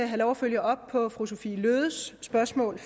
have lov at følge op på fru sophie løhdes spørgsmål